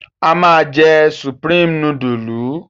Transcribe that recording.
A máa jẹ Supreme núdúlù?